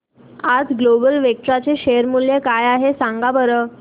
आज global Vectra चे share मूल्य काय आहे सांगा बरं